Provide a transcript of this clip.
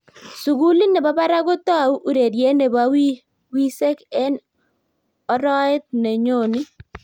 sukulit nebo barak kotou ureriet nebo wisek en oroet no nyonii